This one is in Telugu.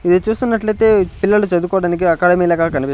ఇది చూస్తున్నట్లయితే పిల్లలు చదువుకోవడానికి అకాడమీ లాగా కానిపి.